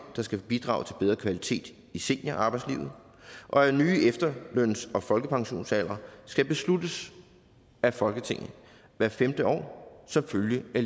der skal bidrage til bedre kvalitet i seniorarbejdslivet og at nye efterløns og folkepensionsaldre skal besluttes af folketinget hvert femte år som følge af